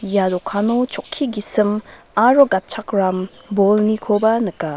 ia dokano chokki gisim aro gatchakram bolnikoba nika.